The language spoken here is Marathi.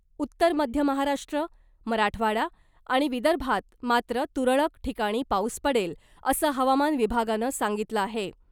उत्तर मध्य महाराष्ट्र , मराठवाडा आणि विदर्भात मात्र तुरळक ठिकाणी पाऊस पडेल, असं हवामान विभागानं सांगितलं आहे .